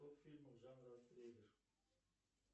топ фильмов жанра триллер